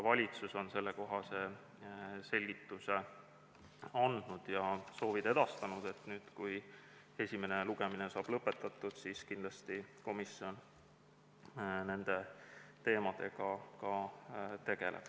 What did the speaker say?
Valitsus on samuti andnud sellekohase selgituse ja edastanud soovi, et nüüd, kui esimene lugemine saab lõpetatud, tegeleks komisjon kindlasti ka nende teemadega.